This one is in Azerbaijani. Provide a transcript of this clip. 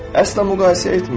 Əsla müqayisə etmə.